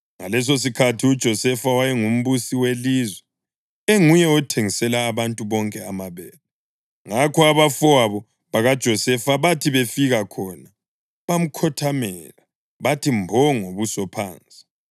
Ngalesosikhathi uJosefa wayengumbusi welizwe, enguye othengisela abantu bonke amabele. Ngakho abafowabo bakaJosefa bathi befika khona bamkhothamela, bathi mbo ngobuso phansi.